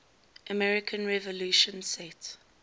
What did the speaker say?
american revolution set